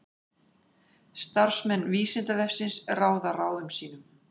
Starfsmenn Vísindavefsins ráða ráðum sínum.